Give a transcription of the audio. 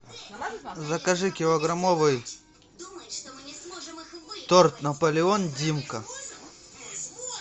закажи килограммовый торт наполеон димка